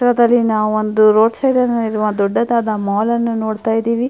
ಈ ಚಿತ್ರದಲ್ಲಿ ನಾವು ಒಂದು ರೋಡ್ ಸೈಡ್ ನಲ್ಲಿ ಇರುವ ದೊಡ್ಡದಾದ ಮಾಲ್ ಅನ್ನು ನೋಡ್ತಾಇದ್ದೀವಿ --